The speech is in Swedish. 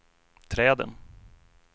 träden